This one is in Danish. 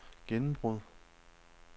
gennembrud